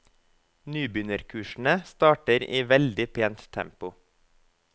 Nybegynnerkursene starter i veldig pent tempo.